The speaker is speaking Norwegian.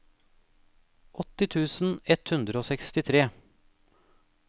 åtti tusen ett hundre og sekstitre